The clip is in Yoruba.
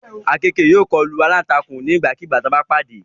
Àkekèé yóò kọlu alántakùn nígbàkigbà tí wọ́n bá pàdé